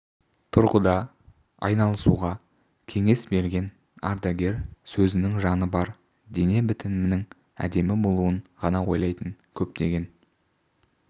тұрғыда айналысуға кеңес берген ардагер сөзінің жаны бар дене бітімінің әдемі болуын ғана ойлайтын көптеген